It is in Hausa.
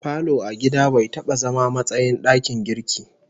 Falo a gida bai taba zama matsayin dakin girki